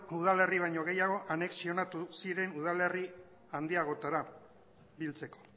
udalerri baino gehiago anexionatu ziren udalerri handiagoetara biltzeko